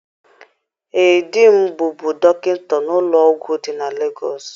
Ee, di m bụbu dọkịta n'ụlọ ọgwụ dị na Legọọsị.